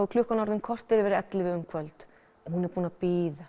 er klukkan orðin korter yfir ellefu um kvöld og hún er búin að bíða